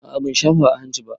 A a ban shafa a hanci ba.